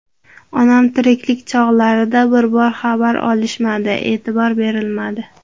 Onam tiriklik chog‘larida bir bor xabar olishmadi, e’tibor berilmadi.